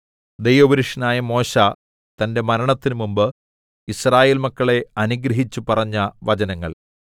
ദൈവപുരുഷനായ മോശെ തന്റെ മരണത്തിനു മുമ്പ് യിസ്രായേൽ മക്കളെ അനുഗ്രഹിച്ചു പറഞ്ഞ വചനങ്ങൾ